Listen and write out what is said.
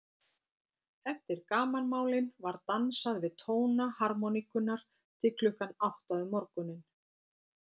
Eftir gamanmálin var dansað við tóna harmóníkunnar til klukkan átta um morguninn.